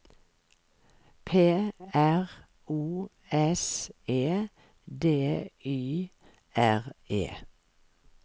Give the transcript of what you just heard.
P R O S E D Y R E